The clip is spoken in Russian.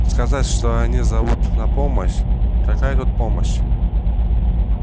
сказать что они зовут на помощь какая тут помощь